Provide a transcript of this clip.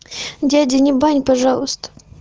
дядя не бань пожалуйста